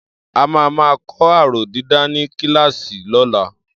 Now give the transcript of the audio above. A máa máa kọ́ aróh dídà ní kíláàsì lọ́la.